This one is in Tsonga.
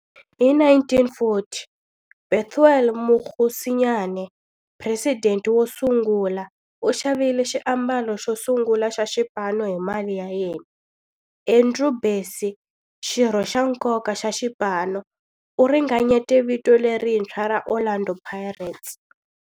Hi 1940, Bethuel Mokgosinyane, president wo sungula, u xavile xiambalo xo sungula xa xipano hi mali ya yena. Andrew Bassie, xirho xa nkoka xa xipano, u ringanyete vito lerintshwa ra 'Orlando Pirates'.